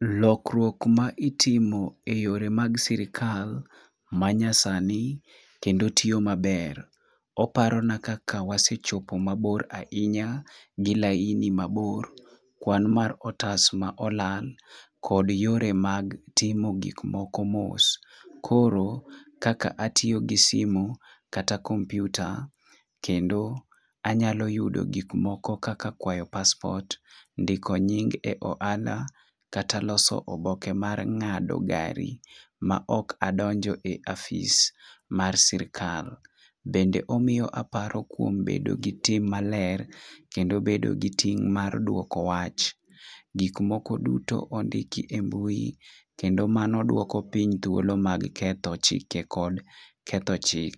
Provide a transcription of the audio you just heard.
Lokruok ma itimo e yore mag sirikal ma nya sani kendo tiyo maber . Oparo na kaka wasechopo mabor ahinya gi laini mabor, kwan mar otas ma olal kod yore mag timo gik moko mos. Koro, kaka atiyo gi simu kata komputa kendo anyalo yudo gik moko kaka kwayo passport , ndiko nying e ohala kata loso oboke mar ng'ado gari ma ok adonje ofis mar sirikal . Kendo omiyo aparo kuom bedo gi tim maler kendo bedo gi tim mar duoko wach. Gik moko duto ondiki e mbui kendo mano duoko piny thuolo mag ketho chike kod tketho chik.